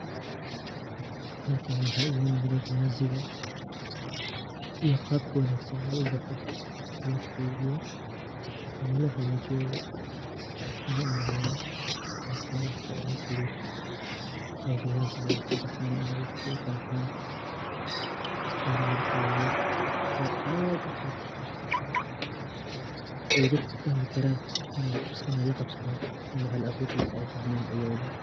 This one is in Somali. Halkani waxaa iiga muuqdo viazi ga iyo qabka wanaagsan oo uu u baxo, loo keydiyo ama loo hagaajiyo bo ,waxaana u maleyaa waa qabka ugu fudud ee viazi ga ay ku baxaan ama ay ku fafaan ,waana lawa qaabood oo aad u fudud ay dadka fahmi karaan inay la qabsadaan ama hal aburkiisa ay fahmaan ciyoowba.